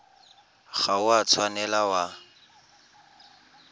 ga o a tshwanela wa